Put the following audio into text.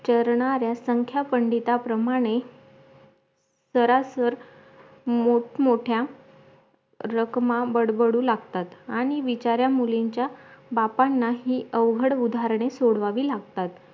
चरणारा संख्या पंडिता प्रमाणे सरासर मोठ मोठ्या रखमा बडबडू लागतात आणी बिचार्या मुलींच्या बापांनाही अवघड उदाहरणे सोडवावी लागतात